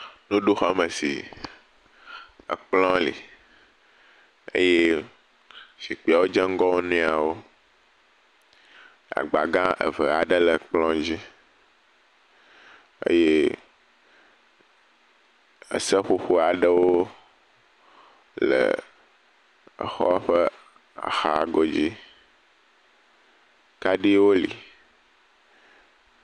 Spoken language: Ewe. nuɖuxɔme si ekplɔ̃ li eye zikpiawo dze ŋgɔ woniawo eye agba gã eve aɖe le kplɔ̃ dzí eye eseƒoƒo aɖewo le exɔa ƒe axa godzi kaɖiwo li